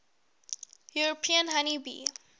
european honey bee